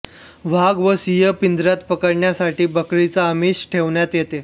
वाघ वा सिंह पिंजऱ्यात पकडण्यासाठी बकरीचे आमिष ठेवण्यात येते